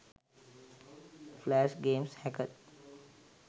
flash games hacked